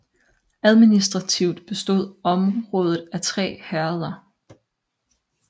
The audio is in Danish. Administrativt bestod området af tre herreder